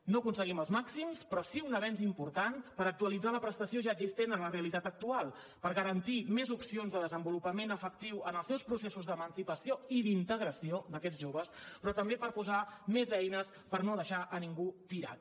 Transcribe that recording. no aconseguim els màxims però sí un avenç important per actualitzar la prestació ja existent a la realitat actual per garantir més opcions de desenvolupament efectiu en els seus processos d’emancipació i d’integració d’aquests joves però també per posar més eines per no deixar a ningú tirat